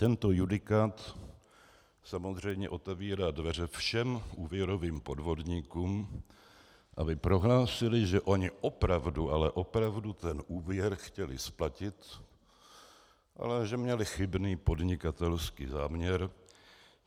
Tento judikát samozřejmě otevírá dveře všech úvěrovým podvodníkům, aby prohlásili, že oni opravdu, ale opravdu ten úvěr chtěli splatit, ale že měli chybný podnikatelský záměr.